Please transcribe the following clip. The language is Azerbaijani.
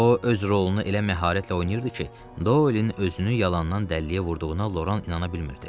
O öz rolunu elə məharətlə oynayırdı ki, Dolenin özünü yalandan dəlliyə vurduğuna Loran inana bilmirdi.